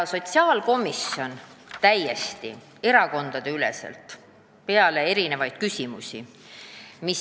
Meil tekkis täiesti erakondade üleselt hulk küsimusi.